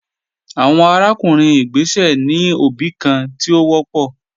Awọn arakunrin igbesẹ ni obi kan ti o wọpọ